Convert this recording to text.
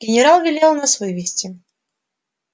генерал велел нас вывести